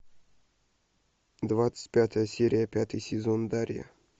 двадцать пятая серия пятый сезон дарья